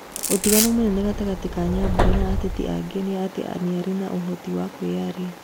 Ũtiganu mũnene gatagatĩ ka Nyambura na ateti angĩ nĩ atĩ nĩarĩ ũhoti wa kwiyaria